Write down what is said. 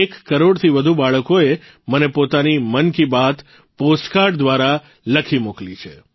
એક કરોડથી વધુ બાળકોએ મને પોતાની મન કી બાત પોસ્ટકાર્ડ દ્વારા લખી મોકલી છે